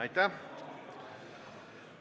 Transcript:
Aitäh!